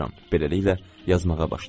Beləliklə yazmağa başlayıram.